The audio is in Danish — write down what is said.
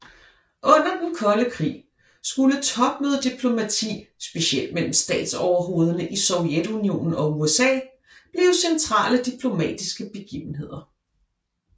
Under den kolde krig skulle topmødediplomati specielt mellem statsoverhovederne i Sovjetunionen og USA blive centrale diplomatiske begivenheder